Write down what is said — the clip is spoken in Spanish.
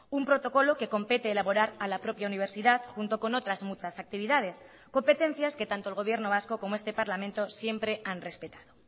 un protocolo que compete elaborar a la propia universidad junto con otras muchas actividades competencias que tanto el gobierno vasco como este parlamento siempre han respetado